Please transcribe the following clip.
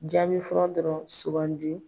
Jaabi fɔlɔ dɔrɔn sugandi.